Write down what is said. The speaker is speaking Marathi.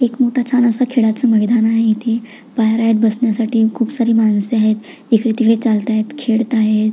एक मोठ छान अस खेळायच मैदान आहे इथे बाहेर बसण्यासाठी खुप सारी माणस आहेत इकडे तिकडे चालत आहेत खेळत आहेत.